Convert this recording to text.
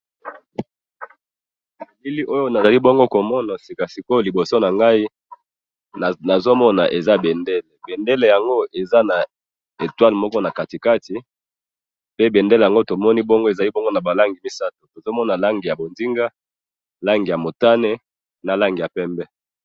Elili oyo nazali bongo komona sikasikoyo oyo na liboso nangayi nozo mona eza bendele pe bendele yango eza na etoil na katikati pe bendele wana eza naba langi misatu tozomona langi ya mbonzinga langi ya pembe na langi ya motane.